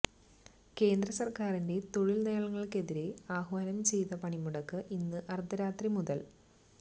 കേന്ദ്ര സർക്കാരിന്റെ തൊഴിൽ നയങ്ങൾക്കെതിരെ ആഹ്വാനം ചെയ്ത പണിമുടക്ക് ഇന്ന് അർധരാത്രി മുതല്